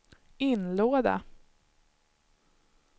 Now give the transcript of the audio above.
inlåda